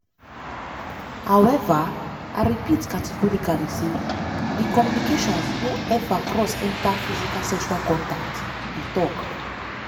“however i repeat categorically say di communications no ever cross enta physical sexual contact" e tok.